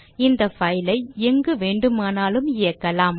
இந்த file ஐ எங்குவேண்டுமானாலும் இயக்கலாம்